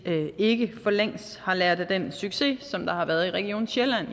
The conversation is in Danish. ikke for længst har lært af den succes som der har været i region sjælland